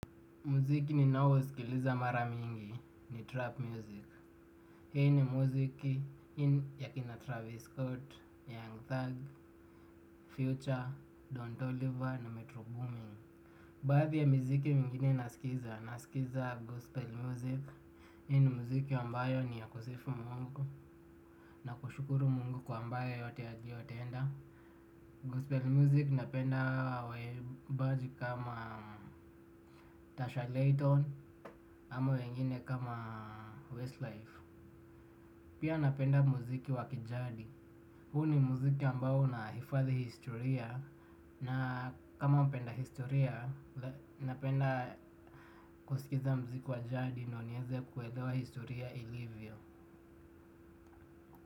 Muziki ni nao uskiliza mara mingi ni trap music. Hii ni muziki ya kina Travis Scott, Young Thug, Future, Don toliver na Metro Booming. Baadhi ya miziki mingine nasikiza, nasikiza gospel music. Hii ni muziki ambayo ni ya kusifu mungu. Na kushukuru mungu kwa ambayo yote aliyotenda Gospel Music napenda waimbaji kama Tasha Layton Ama wengine kama Westlife. Pia napenda muziki wa kijadi. Huu ni muziki ambao unahifadhi historia. Na kama mpenda historia napenda kusikiza muziki wa jadi ndo nieze kuelewa historia ilivyo.